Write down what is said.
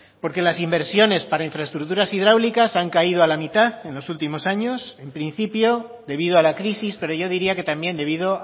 porque las inversiones para infraestructuras hidráulicas han caído a la mitad en los últimos años en principio debido a la crisis pero yo diría que también debido